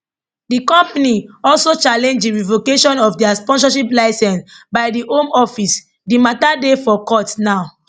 di company also challenge di revocation of dia sponsorship licence by di home office di mata dey for court now